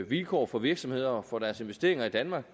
vilkår for virksomheder og for deres investeringer i danmark